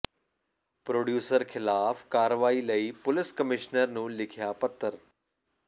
producer ਖਿਲਾਫ ਕਾਰਵਾਈ ਲਈ ਪੁਲਿਸ ਕਮਿਸ਼ਨਰ ਨੂੰ ਲਿਖਿਆ ਪੱਤਰ